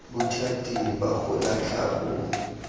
bothati ba go latlha bo